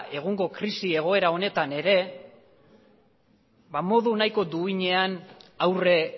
egungo krisi egoera honetan ere ba modu nahiko duinean aurre